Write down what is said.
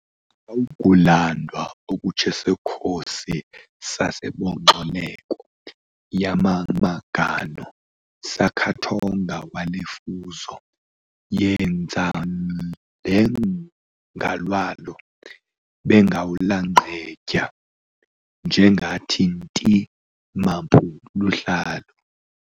Akawugulandwa okutjesokhosi, sasebenxoleko yamamagano sakhathonga welefuzo yenzaLengalwalo bengawulanqedya njengathi-inti mampu luhlalo